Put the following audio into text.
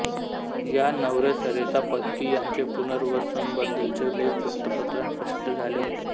ना नवरे सरिता पदकी यांचे पुनर्वसूंबद्दलचे लेख वृत्तपत्रांत प्रसिद्ध झाले होते